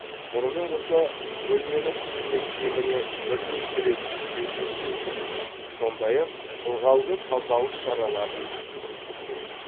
мұнымен қоса бөлмені күніне кеміне бірнеше рет желдеткен жөн сондай ақ ылғалды тазалық шараларын жүргізу керек